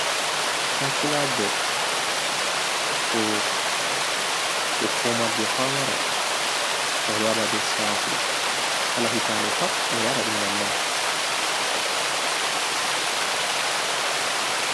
Kansilajo hukumar je pamaro wolwaɗa be sahu kala hitade pat ɓeɗo waɗaɗum nonnon.